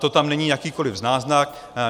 To tam není jakýkoli náznak.